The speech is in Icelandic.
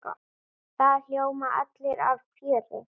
Það ljóma allir af fjöri.